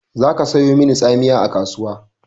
Za ka sayo mani tsamiya a kasuwa!